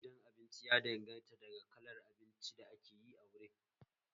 Tsarin zaman gidan abinci ya danganta daga kalar abinci da ake yi a wurin